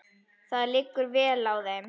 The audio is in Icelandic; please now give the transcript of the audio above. Það liggur vel á þeim.